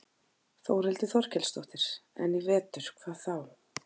Þórhildur Þorkelsdóttir: En í vetur, hvað þá?